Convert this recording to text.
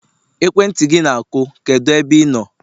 ekwentị gị na-akụ, kedu ebe ị nọ?